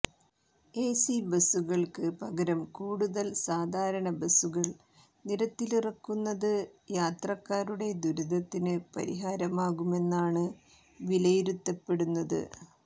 AC ബസുകൾക്ക് പകരം കൂടുതൽ സാധാരണ ബസുകൾ നിരത്തിലിറക്കുന്നത് യാത്രക്കാരുടെ ദുരിതത്തിന് പരിഹാരമാകുമെന്നാണ് വിലയിരുത്തപ്പെടുന്നത്